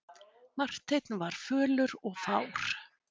Marteinn var fölur og fár.